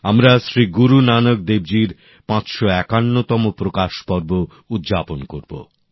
আমরা শ্রী গুরু নানক দেবজির ৫৫১তম প্রকাশ পর্ব উদযাপন করব